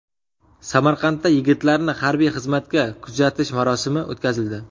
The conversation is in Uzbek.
Samarqandda yigitlarni harbiy xizmatga kuzatish marosimi o‘tkazildi.